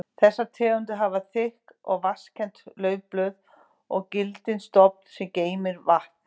Þessar tegundir hafa þykk og vaxkennd laufblöð og gildan stofn sem geymir vatn.